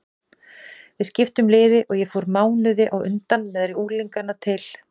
Við skiptum liði og ég fór mánuði á undan með unglingana til